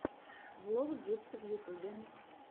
влог джибса в ютюбе